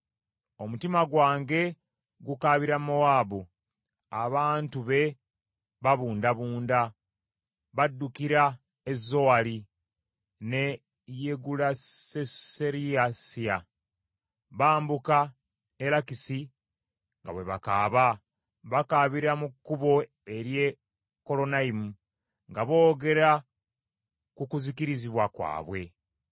Omutima gwange gukaabira Mowaabu; abantu be babundabunda, baddukira e Zowaali ne Yegulasuserisiya. Bambuka e Lakisi nga bwe bakaaba; bakaabira mu kkubo ery’e Kolonayimu nga boogera ku kuzikirizibwa kwabwe.